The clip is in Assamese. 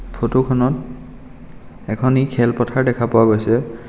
ফটোখনত এখনি খেলপথাৰ দেখা পোৱা গৈছে।